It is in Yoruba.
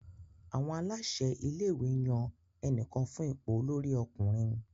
Àwọn aláṣẹ ilé-ìwé yan ẹnìkan fún ipò olórí ọkùnrin.